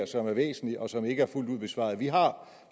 som er væsentlig og som ikke er fuldt ud besvaret vi har